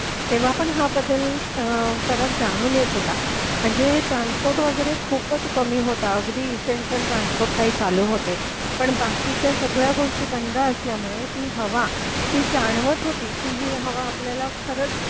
तेव्हा पण हा बदल फरक जाणून येत होता म्हणजे ट्रान्सपोर्ट वगैरे खूपच कमी म्हणजे अगदी इसेन्शिअल ट्रान्सपोर्ट काही चालू होते पण बाकीच्या सगळ्या गोष्टी बंद असल्यामुळे ती हवा जाणवत होती की ही हवा आपल्याला खरंच